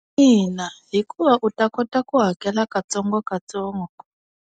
Ina, hikuva u ta kota ku hakela ka tsongo ka tsongo.